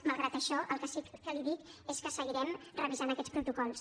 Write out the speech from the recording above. malgrat això el que sí que li dic és que seguirem revisant aquests protocols